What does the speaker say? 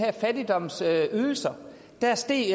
her fattigdomsydelser da steg